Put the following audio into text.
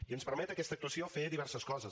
i ens permet aquesta actuació fer diverses coses